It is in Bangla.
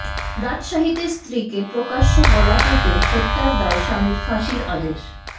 রাজশাহীতে স্ত্রীকে প্রকাশ্যে গলা কেটে হত্যার দায়ে স্বামীর ফাঁসির আদেশ